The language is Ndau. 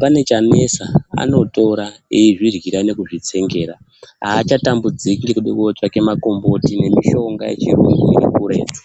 pane chanetsa anotora eizviryira nekuzvitsengera achatambudziki ngekude kotsvake makomboti nemishonga yechirungu iri kuretu.